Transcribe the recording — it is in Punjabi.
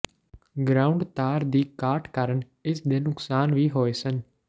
ਗਰਾਉਂਡ ਤਾਰ ਦੀ ਘਾਟ ਕਾਰਨ ਇਸ ਦੇ ਨੁਕਸਾਨ ਵੀ ਹੋਏ ਸਨ